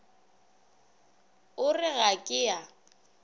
o re ga ke a